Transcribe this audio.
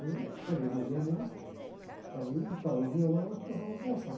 Aí eu acabei de ouvir a música, aí ele parou o violão e começamos a conversar.